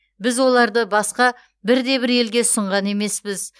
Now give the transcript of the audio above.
біз оларды басқа бірде бір елге ұсынған емеспіз